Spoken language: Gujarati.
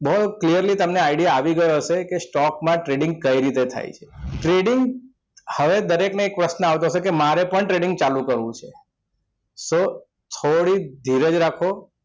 બહુ clearly તમને idea આવી ગયો હશે કે stock trading કઈ રીતે થાય છે trading હવે દરેકને એક પ્રશ્ન આવતો હશે કે મારે પણ trading ચાલુ કરવું છે તો થોડીક ધીરજ રાખો